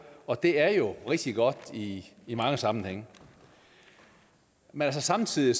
og det er jo rigtig godt i i mange sammenhænge men samtidig